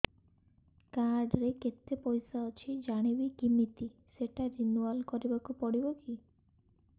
card ରେ କେତେ ପଇସା ଅଛି ଜାଣିବି କିମିତି ସେଟା ରିନୁଆଲ କରିବାକୁ ପଡ଼ିବ କି